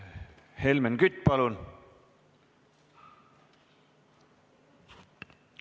Helmen Kütt, palun!